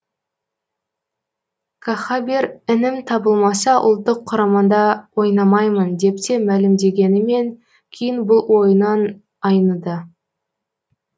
кахабер інім табылмаса ұлттық құрамада ойнамаймын деп те мәлімдегенімен кейін бұл ойынан айныды